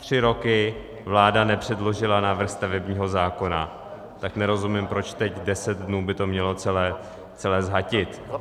Tři roky vláda nepředložila návrh stavebního zákona, tak nerozumím, proč teď 10 dnů by to mělo celé zhatit.